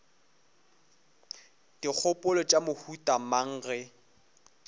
dikgopolo tša mohuta mang ge